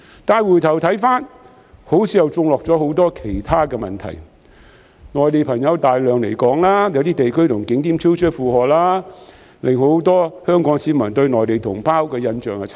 但是回頭看看，好像又種下了很多其他問題，例如有大量內地人士來港，令有些地區和景點超出負荷，令很多香港市民對內地同胞的印象轉差。